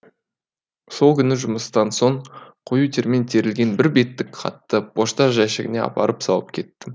сол күні жұмыстан соң коютермен терілген бір беттік хатты пошта жәшігіне апарып салып кеттім